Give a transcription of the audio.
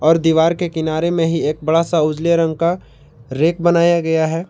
और दीवार के किनारे में ही एक बड़ा सा उजले रंग का रैक बनाया गया है।